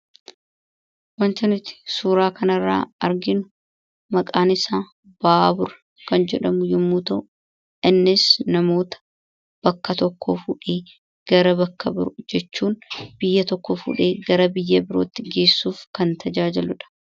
Wanti nuti suuraa kana irraa arginu maqaan isaa baabura kan jedhamu yommuu ta'u, innis namoota bakka tokkoo fuudhee gara bakka birootti geessuu, biyya tokkoo fuudhee gara biyya biyya birootti geessuun kan tajaajiludha.